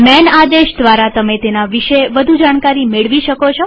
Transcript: માન આદેશ દ્વારા તમે તેના વિશે વધુ જાણકારી મેળવી શકશો